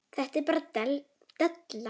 Þetta er bara della.